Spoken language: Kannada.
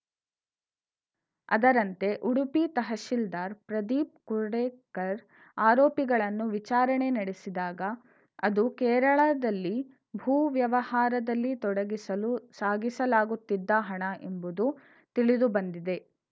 ಅದರಂತೆ ಉಡುಪಿ ತಹಶಿಲ್ದಾರ್‌ ಪ್ರದೀಪ್‌ ಕುರ್ಡೆಕರ್‌ ಆರೋಪಿಗಳನ್ನು ವಿಚಾರಣೆ ನಡೆಸಿದಾಗ ಅದು ಕೇರಳದಲ್ಲಿ ಭೂವ್ಯವಹಾರದಲ್ಲಿ ತೊಡಗಿಸಲು ಸಾಗಿಸಲಾಗುತ್ತಿದ್ದ ಹಣ ಎಂಬುದು ತಿಳಿದುಬಂದಿದೆ